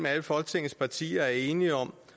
alle folketingets partier er enige om